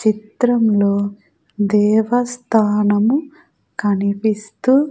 చిత్రంలో దేవస్థానము కనిపిస్తూ--